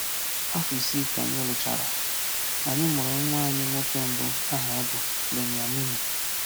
Afọ isii ka anyị lụchara, anyị mụrụ nwa anyị nwoke mbụ aha ya bụ Beniamino.